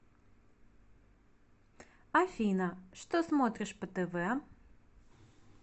афина что смотришь по тв